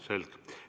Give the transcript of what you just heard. Selge.